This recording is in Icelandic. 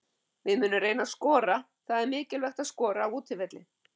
Við munum reyna að skora, það er mikilvægt að skora á útivelli.